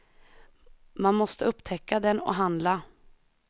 Man måste upptäcka den och handla.